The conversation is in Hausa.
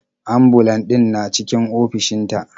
Ambulan ɗin na cikin ofishin ta.